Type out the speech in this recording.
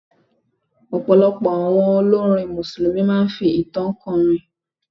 Ọ̀pọ̀lọpọ̀ àwọn olórin Mùsùlùmí máa fi ìtàn kó orin.